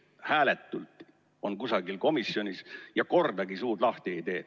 –, kes hääletult on kusagil komisjonis, aga kordagi suud lahti ei tee.